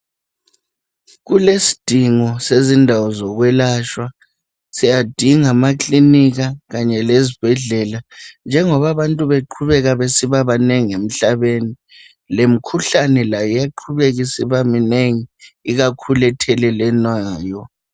Kulesidingo sezindawo zokwelatshwa siyadinga amakilinika kanye lezibhedlela njengoba abantu beqhubeka besiba banengi emhlabeni lemikhuhlane layo iyaqhubeka ibe minengi ikakhulu ethelelwanayo.